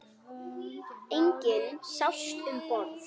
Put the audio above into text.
Enginn sást um borð.